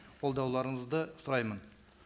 қолдауларыңызды сұраймын